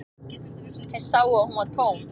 Þeir sáu að hún var tóm.